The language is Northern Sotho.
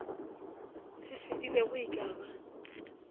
se fedilego e ka ba